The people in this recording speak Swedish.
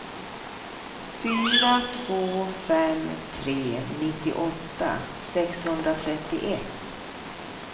fyra två fem tre nittioåtta sexhundratrettioett